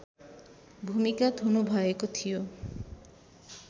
भूमिगत हुनुभएको थियो